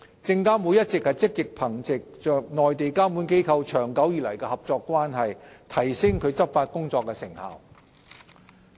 證監會一直積極憑藉與內地監管機構長久以來的合作關係，提升其執法工作的成效。